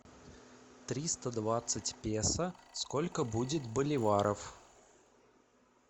триста двадцать песо сколько будет боливаров